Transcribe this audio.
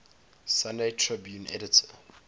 sunday tribune editor